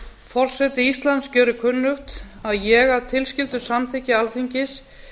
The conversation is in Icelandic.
forseti íslands gjörir kunnugt að ég að tilskildu samþykki alþingis